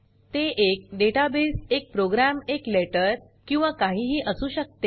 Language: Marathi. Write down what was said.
ते एक डेटाबेस एक प्रोग्राम एक लेटर किंवा काहीही असू शकते